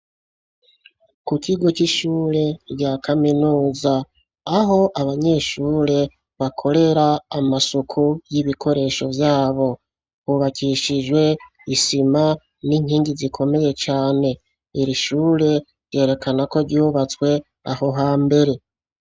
Ku kigo c'ishure rya Kaminuza ,aho abanyeshure bakorera amasuku y'ibikoresho vyabo , hubakishijwe isima n'inkingi zikomeye cane . Iri shure ryerekana ko ryubatswe aho hambere.